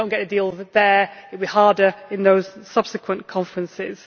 If we do not get a deal there it will be harder in those subsequent conferences.